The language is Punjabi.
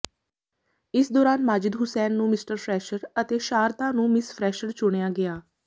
ਇਸ ਦੌਰਾਨ ਮਾਜਿਦ ਹੁਸੈਨ ਨੂੰ ਮਿਸਟਰ ਫਰੈਸ਼ਰ ਅਤੇ ਅਤੇ ਸ਼ਾਰਦਾ ਨੂੰ ਮਿਸ ਫਰੈਸ਼ਰ ਚੁਣਿਆ ਗਿਆ